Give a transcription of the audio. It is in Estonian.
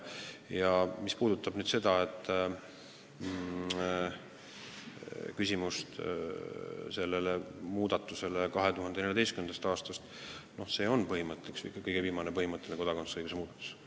Mis puudutab küsimust selle muudatuse kohta 2014. aastast, siis see on kõige viimane põhimõtteline kodakondsust puudutav muudatus.